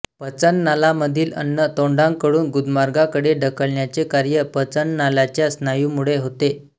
पचन नालामधील अन्न तोंडाकडून गुदमार्गाकडे ढकलण्याचे कार्य पचननालाच्या स्नायूमुळे होते